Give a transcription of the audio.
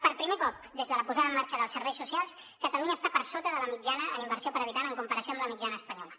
per primer cop des de la posada en marxa dels serveis socials catalunya està per sota de la mitjana en inversió per habitant en comparació amb la mitjana espanyola